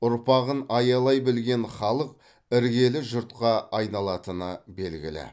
ұрпағын аялай білген халық іргелі жұртқа айналатыны белгілі